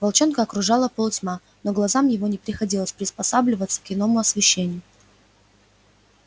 волчонка окружала полутьма но глазам его не приходилось приспосабливаться к иному освещению